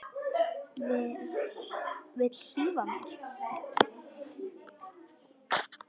Vill hlífa mér.